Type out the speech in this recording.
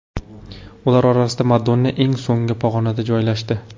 Ular orasida Madonna eng so‘nggi pog‘onada joylashdi.